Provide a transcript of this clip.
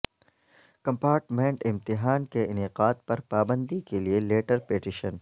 compartment امتحان کے انعقاد پر پابندی کے لیے لیٹر پیٹیشن